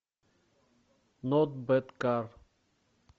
нот бэд кар